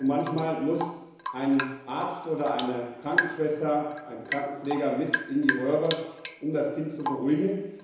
Und manchmal muss ein Arzt, eine Krankenschwester oder ein Krankenpfleger mit in die Röhre, um das Kind zu beruhigen.